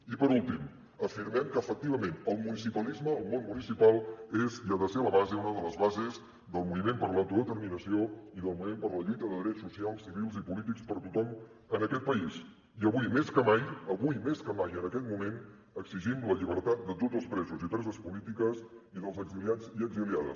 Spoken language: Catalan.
i per últim afirmem que efectivament el municipalisme el món municipal és i ha de ser la base una de les bases del moviment per a l’autodeterminació i del moviment per la lluita de drets socials civils i polítics per a tothom en aquest país i avui més que mai avui més que mai en aquest moment exigim la llibertat de tots els presos i preses polítiques i dels exiliats i exiliades